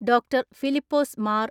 ഡോ.ഫിലിപ്പോസ് Mar